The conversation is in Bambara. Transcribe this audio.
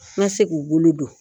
N bɛ se k'u bolo don